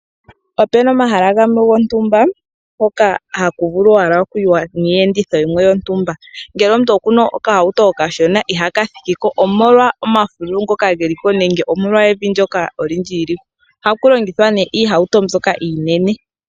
Opuna omahala gamwe gontumba hoka haku vulu owala okuliwa niiyenditho yimwe yontumba. Ngele okuna okahauto okashona, ihaka thikiko omolwa omafululu ngoka geliko nenge evi ndyoka olindji . Ohaku longithwa iihauto mbyoka iinene.